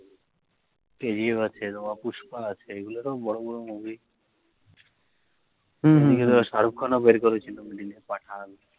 kgf আছে pushpa য়গুলো তো বড়ো বড়ো movie হম হম হম shah rukh khan ও বের করে ছিলো pathan